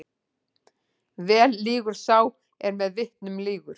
Vel lýgur sá er með vitnum lýgur.